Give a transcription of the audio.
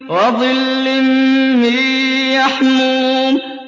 وَظِلٍّ مِّن يَحْمُومٍ